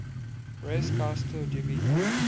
res gestae divi